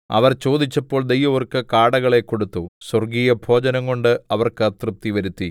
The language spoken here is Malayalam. അവർ ചോദിച്ചപ്പോൾ ദൈവം അവർക്ക് കാടകളെ കൊടുത്തു സ്വർഗ്ഗീയഭോജനംകൊണ്ട് അവർക്ക് തൃപ്തിവരുത്തി